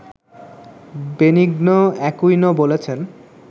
Benigno Aquino বলেছেন